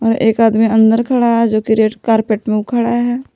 और एक आदमी अंदर खड़ा है जो कि रेड कारपेट में उ खड़ा है।